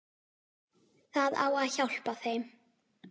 Það á að hjálpa þeim.